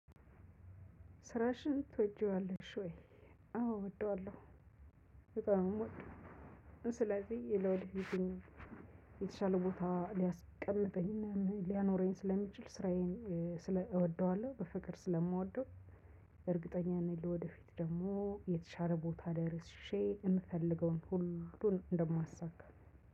ስራሽን ትወጂዋለሽ ወይ? አዎ እወደዋለሁ በጣም ነው እምወደው። ስለዚህ ለወደፊት ህይወት የተሻለ ቦታ ሊያስቀምጠኝና ሊያኖረኝ ስለሚችል ስራዬን ስለ እወደዋለሁ በፍቅር ስለምወደው። እርግጠኛ ነኝ ለወደፊት ደግሞ የተሻለ ቦታ ደርሼ የምፈልገውን ሁሉን እንደማሳካ።